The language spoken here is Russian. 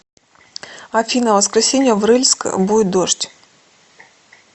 афина в воскресенье в рыльск будет дождь